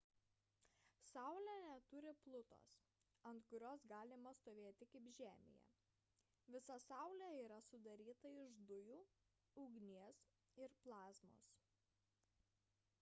saulė neturi plutos ant kurios galima stovėti kaip žemėje visa saulė yra sudaryta iš dujų ugnies ir plazmos